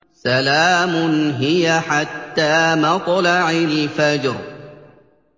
سَلَامٌ هِيَ حَتَّىٰ مَطْلَعِ الْفَجْرِ